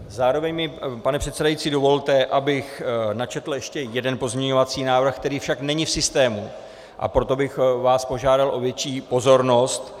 Zároveň mi, pane předsedající, dovolte, abych načetl ještě jeden pozměňovací návrh, který však není v systému, a proto bych vás požádal o větší pozornost...